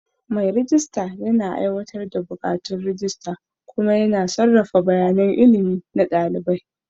Mai rejista yana aiwatar da buƙatun rajista kuma yana sarrafa bayanan ilimi na ɗalibai.